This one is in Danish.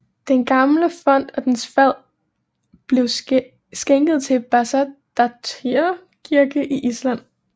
Den gamle font og dens fad blev skænket til Bessastaðir Kirke i Island